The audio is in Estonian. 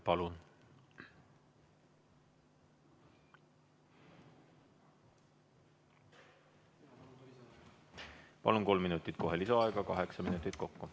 Palun, saate kohe kolm minutit lisaaega, kaheksa minutit kokku.